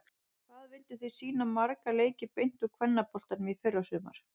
Hvað vilduð þið sýna marga leiki beint úr kvennaboltanum í fyrrasumar?